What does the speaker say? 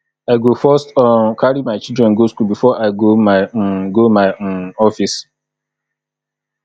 i go first um carry my children go skool before i go my um go my um office